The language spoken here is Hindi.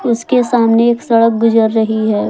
इसके सामने एक सड़क गुजर रही है।